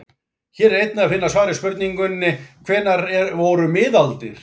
Hér er einnig að finna svar við spurningunni: Hvenær voru miðaldir?